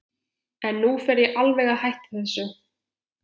En nú fer ég alveg að hætta þessu.